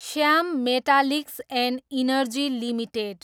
Shyam metallics and energy limited